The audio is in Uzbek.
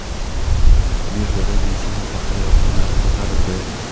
Birjada benzin va paxta yog‘ining narxi ko‘tarildi.